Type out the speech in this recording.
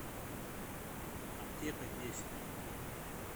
аптека десять